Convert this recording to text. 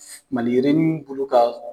Maliyirinin bulu ka